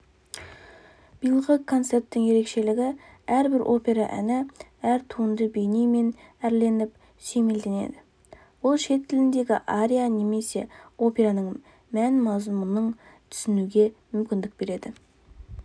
биылғы концерттің ерекшелігі әрбір опера әні әр туынды бейнемен әрленіп сүйемелденеді бұл шет тіліндегі ария немесе операның мән-мазмұнын түсінуге мүмкіндік береді